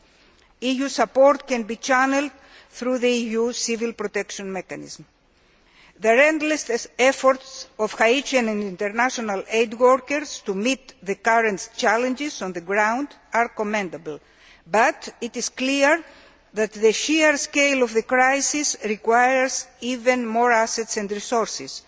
time. EU support can be channelled through the EU Civil Protection Mechanism. The endless efforts of Haitian and international aid workers to meet the current challenges on the ground are commendable, but it is clear that the sheer scale of the crisis requires even more assets and resources.